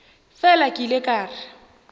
fela ke ile ka re